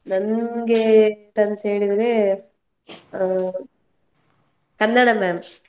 ನನ್ಗೆ ಎಂತಂಥ ಹೇಳಿದ್ರೆ, ಹಾ ಕನ್ನಡ ma'am .